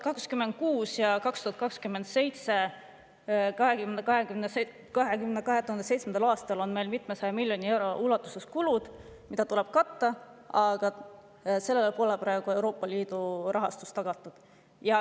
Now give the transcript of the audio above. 2026. ja 2027. aastal on meil mitmesaja miljoni euro ulatuses kulusid, mida tuleb katta, aga sellele pole praegu tagatud Euroopa Liidu rahastust.